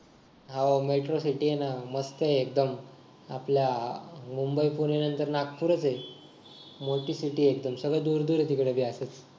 हो metro city आहे ना मस्त आहे एकदम आपल्या मुंबई पुणे नंतर नागपूरचं हाय मोठी city हाय सगळी धूळ धूळ हाय तिकडं बी अशीच